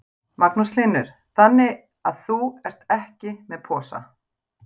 Magnús Hlynur: Þannig að þú ert ekki með posa?